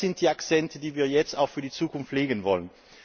Das sind die Akzente, die wir jetzt auch für die Zukunft setzen wollen.